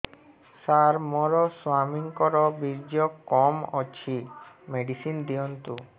ସାର ମୋର ସ୍ୱାମୀଙ୍କର ବୀର୍ଯ୍ୟ କମ ଅଛି ମେଡିସିନ ଦିଅନ୍ତୁ